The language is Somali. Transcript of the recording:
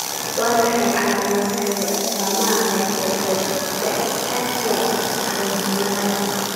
Waa maxay calaamadaha iyo astaamaha hypophosphatasia caruurnimada?